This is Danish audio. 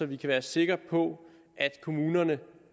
vi kan være sikre på at kommunerne